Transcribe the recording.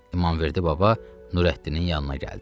İmamverdi baba Nurəddinin yanına gəldi.